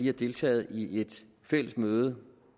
har deltaget i et fælles møde